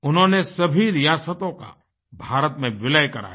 उन्होंने सभी रियासतों का भारत में विलय कराया